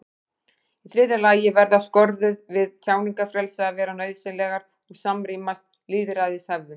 í þriðja lagi verða skorður við tjáningarfrelsi að vera nauðsynlegar og samrýmast lýðræðishefðum